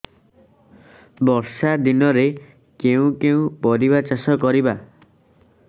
ବର୍ଷା ଦିନରେ କେଉଁ କେଉଁ ପରିବା ଚାଷ କରିବା